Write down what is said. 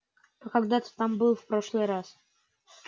а когда ты там был в прошлый раз